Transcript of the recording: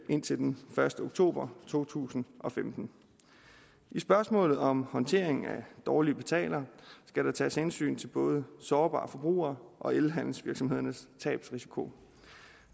indtil den første oktober to tusind og femten i spørgsmålet om håndteringen af dårlige betalere skal der tages hensyn til både sårbare forbrugere og elhandelsvirksomhedernes tabsrisiko